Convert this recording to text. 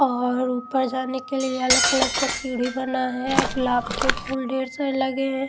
और ऊपर जाने के लिए येलो कलर का सीढ़ी बना है गुलाब के फूल ढेर से लगे हैं।